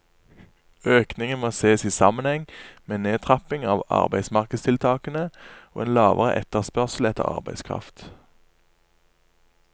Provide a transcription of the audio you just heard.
Økningen må ses i sammenheng med en nedtrapping av arbeidsmarkedstiltakene og en lavere etterspørsel etter arbeidskraft.